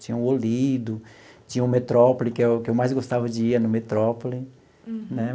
Tinha o Olido, tinha o Metrópole, que é o que eu mais gostava de ir, é no Metrópole. Uhum. Né.